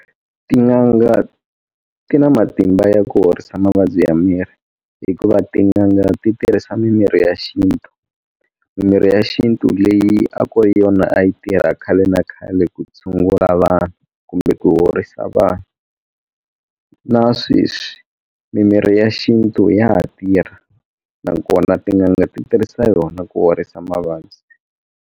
Tin'anga ti na matimba ya ku horisa mavabyi ya miri hikuva tin'anga ti tirhisa mimirhi ya xintu mimirhi ya xintu leyi a ku ri yona a yi tirha khale na khale ku tshungula vanhu kumbe ku horisa vanhu na sweswi mimirhi ya xintu ya ha tirha nakona tin'anga ti tirhisa yona ku horisa mavabyi.